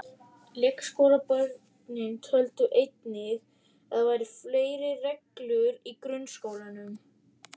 Leikskólabörnin töldu einnig að það væru fleiri reglur í grunnskólanum.